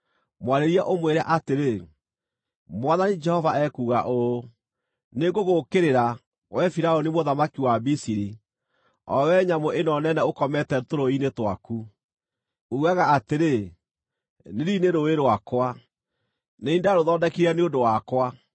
Mwarĩrie ũmwĩre atĩrĩ, ‘Mwathani Jehova ekuuga ũũ: “ ‘Nĩngũgũũkĩrĩra, wee Firaũni mũthamaki wa Misiri, o wee nyamũ ĩno nene ũkomete tũrũũĩ-inĩ twaku. Uugaga atĩrĩ, “Nili nĩ rũũĩ rwakwa; nĩ niĩ ndarũthondekire nĩ ũndũ wakwa.”